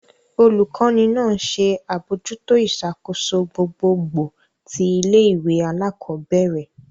Olukọni náà nṣe abojuto iṣakoso gbogbogbò ti ilé-ìwé alakọbẹrẹ.